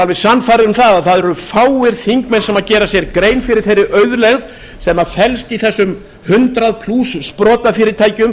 alveg sannfærður um það að það eru fáir þingmenn sem gera sér grein fyrir þeirri auðlegð sem flest í þessum hundrað plús sprotafyrirtækjum